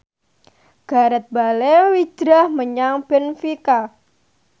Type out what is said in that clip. Gareth Bale hijrah menyang benfica